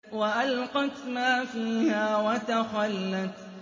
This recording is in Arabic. وَأَلْقَتْ مَا فِيهَا وَتَخَلَّتْ